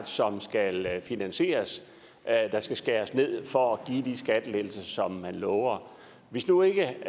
som skal finansieres og at der skal skæres ned for at give de skattelettelser som man lover hvis nu ikke